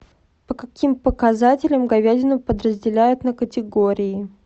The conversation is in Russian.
по каким показателям говядину подразделяют на категории